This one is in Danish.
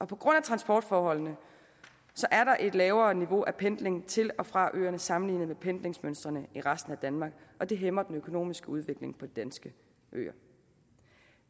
på grund af transportforholdene er der et lavere niveau af pendling til og fra øerne sammenlignet med pendlingsmønstrene i resten af danmark og det hæmmer den økonomiske udvikling på de danske øer